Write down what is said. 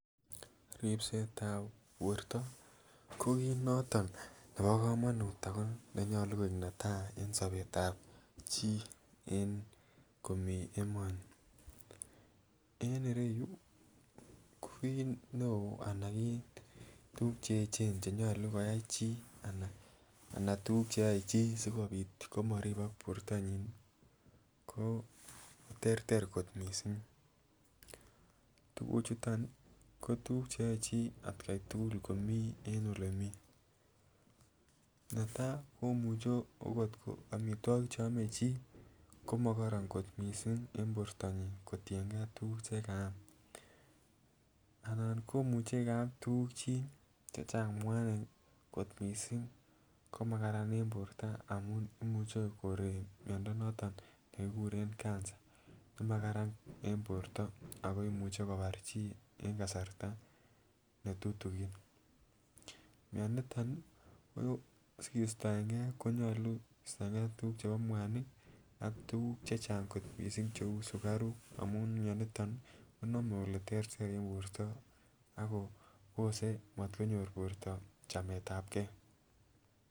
Ripsetab borto ko kit noto nebo komonut ako nenyolu koik netai en sobet tab chii en komii emoni. En ireyuu ko kot neo anan tukuk cheyechen chenyolu koyai chii anan tukuk cheyoe chii sikopit komoribok bortonyin ko terter kot missing tukuchuton nii ko tukuk cheyoe chii atgai tukul en ole mii. Netai komuche okot omitwokik cheome chii komokoronnkot missing en bortonyin kotiyen gee tukuk chekaam, anan komuche kaam tukuk chii chechang mwanik kot missing ko makaran en borto amun imuche koree miondo noton nekikuren cancer nemakaran en borto ako imuche kobar chii en kasarta netutukin. Mioniton nii ko sikistoen gee konyolu kistoengee tukuk chebo mwanik ak tukuk chechang kot missing cheu sukaruk amun mioniton nii konome ole terter en borto akobose motkonyor borto chametab gee.